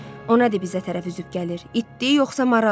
O nədi bizə tərəf üzüb gəlir, itdi yoxsa maral?